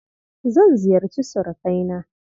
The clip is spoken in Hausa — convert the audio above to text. Zan ziyarci surukaina.